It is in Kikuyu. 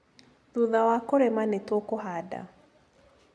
Thutha wa kũrĩma nĩ tũkũhanda